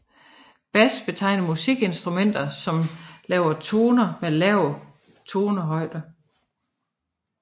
Bas betegner musikinstrumenter som laver toner med lav tonehøjde